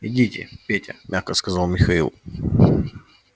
идите петя мягко сказал михаил